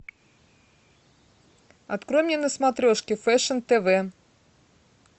открой мне на смотрешке фэшн тв